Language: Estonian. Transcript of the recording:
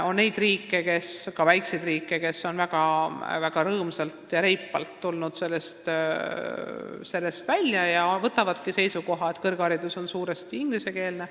On neid riike – ka väikseid riike –, kes on väga rõõmsalt ja reipalt olukorrast välja tulnud ning võtnud seisukoha, et kõrgharidus ongi suuresti ingliskeelne.